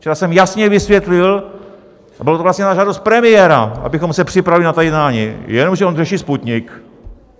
Včera jsem jasně vysvětlil, a bylo to vlastně na žádost premiéra, abychom se připravili na ta jednání, jenomže on řeší Sputnik.